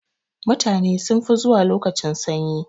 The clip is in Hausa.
Mutane sun fi zuwa lokacin sanyi.